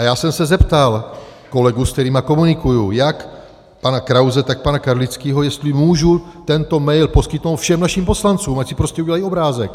A já jsem se zeptal kolegů, se kterými komunikuji, jak pana Krause, tak pana Karlického, jestli můžu tento mail poskytnout všem našim poslancům, ať si prostě udělají obrázek.